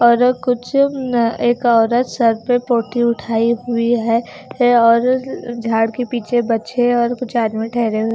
और कुछ अम्म एक औरत सर पे पोटली उठायी हुयी है और झाड़ के पीछे बच्चे और कुछ आदमी ठहरे --